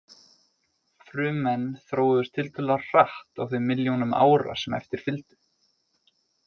Frummenn þróuðust tiltölulega hratt á þeim milljónum ára sem eftir fylgdu.